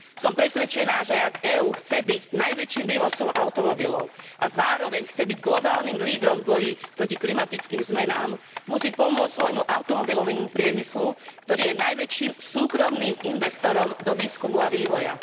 Som presvedčená, že ak EÚ chce byť najväčším vývozcom automobilov a zároveň chce byť globálnym lídrom v boji proti klimatickým zmenám, musí pomôcť svojmu automobilovému priemyslu, ktorý je najväčším súkromným investorom do výskumu a vývoja.